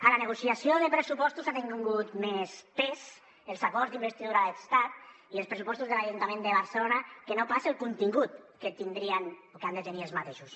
a la negociació de pressupostos han tingut més pes els acords d’investidura de l’estat i els pressupostos de l’ajuntament de barcelona que no pas el contingut que tindrien o que han de tenir aquests